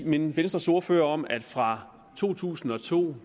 minde venstres ordfører om at fra to tusind og to